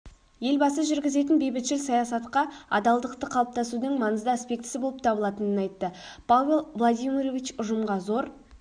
елбасы жүргізетін бейбітшіл саясатқа адалдықты қалыптасудың маңызды аспектісі болып табылатының айтты павел владимирович ұжымға зор